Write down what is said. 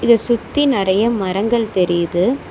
இத சுத்தி நறைய மரங்கள் தெரியுது.